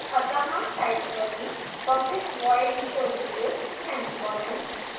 अत: type करें public void showdetails semicolon